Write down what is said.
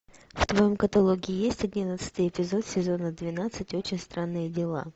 в твоем каталоге есть одиннадцатый эпизод сезона двенадцать очень странные дела